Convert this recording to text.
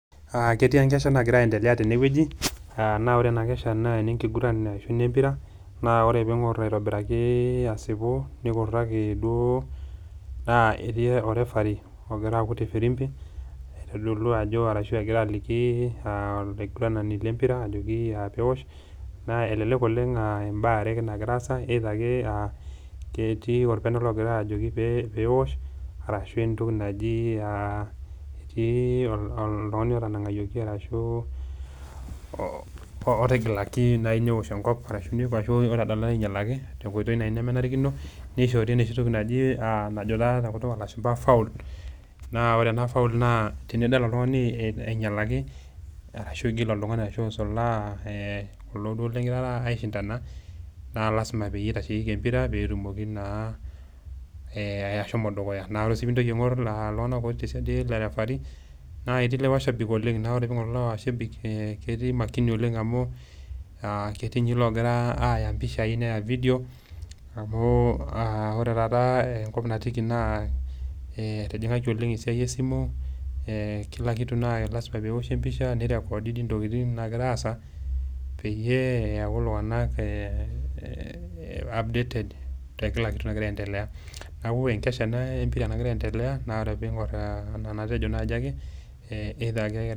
Ketii enkesha nagira aelea tenewueji. Naa ore ena kesha naa enekiguran ashu enempira, naa ore pee ing'or aitobiraki asipu, nikuraki duo, naa etii orefaree ogira aakut efirimpi, aitodolu ajo, ashu egira aliki olaiguenani le empira ajoki peosh, naa elelek aa mbaa are ake naagira aasa, either ake petii olpenalt ogira ajoki peosh, ashu entoki naji etii entoki naji oltung'ani otanang'ayioki arashu otigilaki naaji neosh enkop, arashu neishooyie obo ainyalaki tenkoitoi nem, enarikino, neishoori enooshi toki naji enajo taa tenkutuk oo lashumpa faul, naa ore ena faul naa tenidol oltung'ani einyalaki arashu igil oltung'ani arshu isulaa kulo duo lingira aishindana, naa lazima peyie eitasheiyieki empira peyie etumoki naa ashomo dukuya. Naa ore sii pee intoki aing'or iltung'ana otii siadi ele referee[cs, naa etii ilmashabik oleng' naa ore pee ing'or iltung'ana laijo lelo mashabik naa ketii makini oleng' amu ketii ninye loogira aaya impishai neya ividioi amu ore taata enkop natiiki naa etijing'ayie ole ng' esiai e simu, kila kitu naa lazima pee eoshi empisha, neirekodi dei intokitin naagira aasa peyie eyaku iltung'ana updated te kila kitu nagira aendelea.